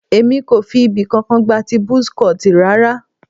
Èmi kò fi ibì kankan gba ti buzz cut rara.